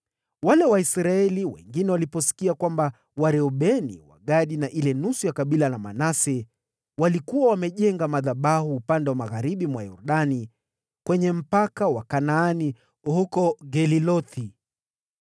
Waisraeli wengine waliposikia kwamba Wareubeni, Wagadi na ile nusu ya kabila la Manase walikuwa wamejenga madhabahu kwenye mpaka wa Kanaani huko Gelilothi karibu na Yordani kwenye upande wa Israeli,